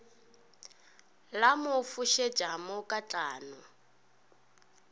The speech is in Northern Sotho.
la mo fošetša mo katlano